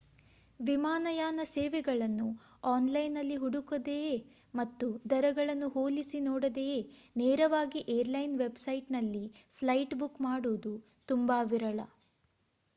ವಿಮಾನಯಾನ ಸೇವೆಗಳನ್ನು ಆನ್‌ಲೈನ್‌ನಲ್ಲಿ ಹುಡುಕದೆಯೇ ಮತ್ತು ದರಗಳನ್ನು ಹೋಲಿಸಿ ನೋಡದೆಯೇ ನೇರವಾಗಿ ಏರ್‌ಲೈನ್ ವೆಬ್‌ಸೈಟ್‌ನಲ್ಲಿ ಫ್ಲೈಟ್ ಬುಕ್ ಮಾಡುವುದು ತುಂಬಾ ವಿರಳ